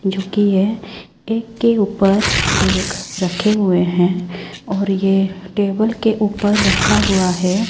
झुकी है एक के ऊपर एक रखे हुए हैं और ये टेबल के ऊपर रखा हुआ है।